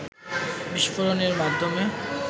বিস্ফোরণের মাধ্যমে